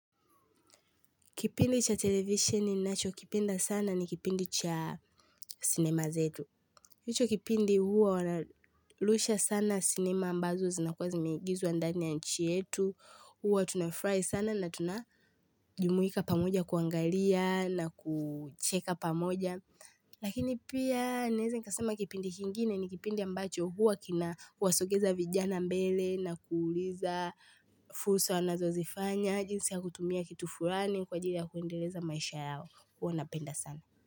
Kipindi cha televisheni ninachokipenda sana ni kipindi cha sinema zetu. Hicho kipindi huwa wanarusha sana cinema ambazo zinakuwa zimeigizwa ndani ya nchi yetu. Huwa tunafurahi sana na tunajumuika pamoja kuangalia na kucheka pamoja. Lakini pia naeza nikasema kipindi kingine ni kipindi ambacho huwa kinawasogeza vijana mbele na kuuliza fursa wanazozifanya. Na jinsi ya kutumia kitu fulani kwa ajili ya kuendeleza maisha yao. Huwa napenda sana.